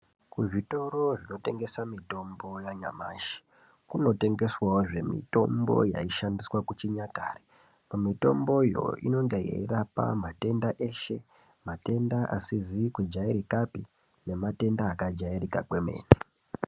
Kuzvitoro zvinotengesa mitombo yanyamashi kunotengeswawozve mitombo yaishandiswa kuchinyakare mitomboyo inonge yeirapa matenda eshe matenda asizi kujairikapi nematenda akajairika kwemene.